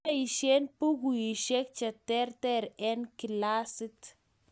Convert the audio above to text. Kiboisien bukuisiek che ter eng' kilasit